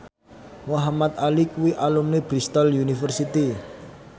Muhamad Ali kuwi alumni Bristol university